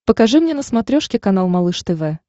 покажи мне на смотрешке канал малыш тв